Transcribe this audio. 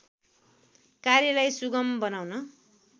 कार्यलाई सुगम बनाउन